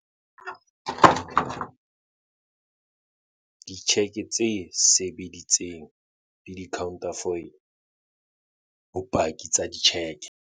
Ditjheke tse sebeditseng le di-counterfoile, bopaki, tsa ditjheke